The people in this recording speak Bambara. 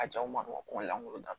A jaw ma dɔgɔ lankolon ta